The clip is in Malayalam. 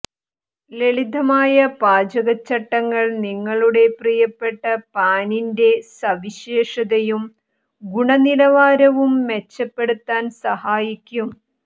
ലളിതമായ പാചക ചട്ടങ്ങൾ നിങ്ങളുടെ പ്രിയപ്പെട്ട പാനീന്റെ സവിശേഷതയും ഗുണനിലവാരവും മെച്ചപ്പെടുത്താൻ സഹായിക്കും